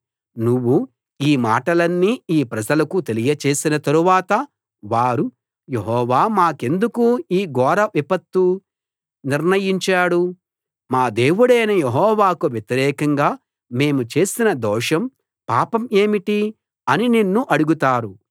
నువ్వు ఈ మాటలన్నీ ఈ ప్రజలకు తెలియచేసిన తరువాత వారు యెహోవా మాకెందుకు ఈ ఘోర విపత్తు నిర్ణయించాడు మా దేవుడైన యెహోవాకు వ్యతిరేకంగా మేము చేసిన దోషం పాపం ఏమిటి అని నిన్ను అడుగుతారు